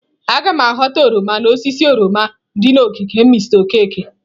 Aga m ghọta oroma n'osisi oroma dị n'ogige Mr Okeke.